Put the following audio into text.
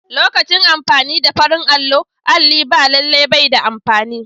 Lokacin amfani da farin allo, alli ba lallai bai da amfani.